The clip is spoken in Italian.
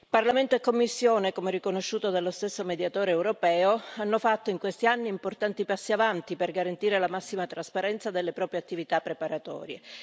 Parlamento e Commissione, come riconosciuto dallo stesso Mediatore europeo, hanno fatto in questi anni importanti passi avanti per garantire la massima trasparenza delle proprie attività preparatorie.